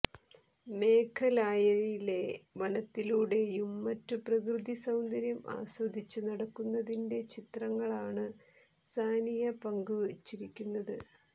മേഘലായയിലെ വനത്തിലൂടേയും മറ്റും പ്രകൃതി സൌന്ദര്യം ആസ്വദിച്ച് നടക്കുന്നതിന്റെ ചിത്രങ്ങളാണ് സാനിയ പങ്കുവച്ചിരിക്കുന്നത്